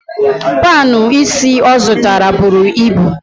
Panụ ísí ọ zụtara buru ibu.